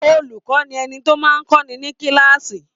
Olùkọ́ ni ẹni tó máa ń kọ́ni ní kíláàsì.